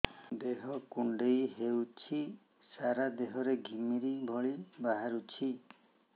ଦେହ କୁଣ୍ଡେଇ ହେଉଛି ସାରା ଦେହ ରେ ଘିମିରି ଭଳି ବାହାରୁଛି